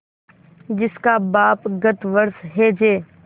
जिसका बाप गत वर्ष हैजे